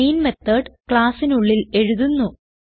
main method Classനുള്ളിൽ എഴുതുന്നു